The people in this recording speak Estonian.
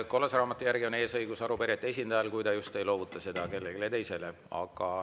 Kollase raamatu järgi on eesõigus arupärijate esindajal, kui ta just ei loovuta seda kellelegi teisele.